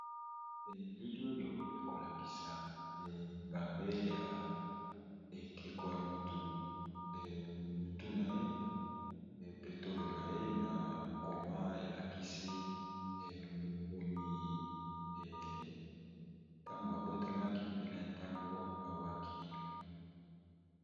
elili oyo ekolakisa engambe ya ekeko ya motu motu na ye petolo na ye na mkoma elakisi mokomi ntango abotamaki pene ntango awaki